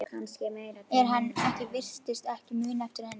En hann virtist ekki muna eftir henni.